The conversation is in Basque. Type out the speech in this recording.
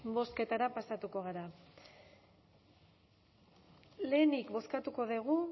bozketara pasatuko gara lehenik bozkatuko dugu